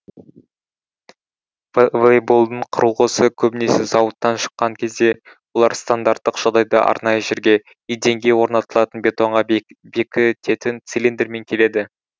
волейболдың құрылғысы көбінесе зауыттан шыққан кезде олар стандарттық жағдайда арнайы жерге еденге орнатылатын бетонға бекітетін цилиндрмен келеді